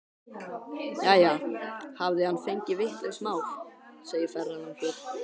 Jæja, hafði hann fengið vitlaust mál, segir ferðalangur.